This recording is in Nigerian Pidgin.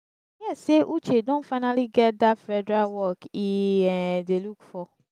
i hear say uche don finally get dat federal work e um dey look for